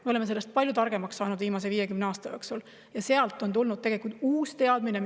Me oleme sellest palju targemaks saanud viimase 50 aasta jooksul ja sealt on tulnud uus teadmine.